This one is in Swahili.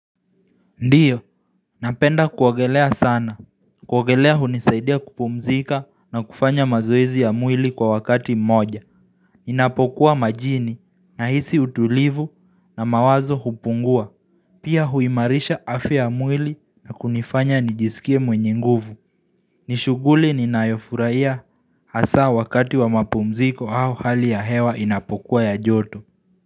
Ndiyo, napenda kuogelea sana, kuogelea hunisaidia kupumzika na kufanya mazoezi ya mwili kwa wakati mmoja Ninapokuwa majini nahisi utulivu na mawazo hupungua Pia huimarisha afya ya mwili na kunifanya nijisikie mwenye nguvu Nishughuli ninayofurahia hasaa wakati wa mapumziko au hali ya hewa inapokuwa ya joto.